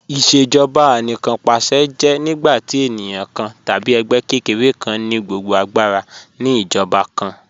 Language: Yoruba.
Ìṣèjọba Anìkanpàṣẹ jẹ́ nígbàtí ènìyàn kàn tàbí ègbẹ́ kẹ́kẹ̀rẹ̀ kàn ni gbogbo agbàra ni ìjọba kàn